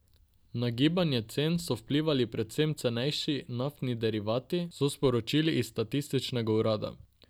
Na gibanje cen so vplivali predvsem cenejši naftni derivati, so sporočili iz statističnega urada.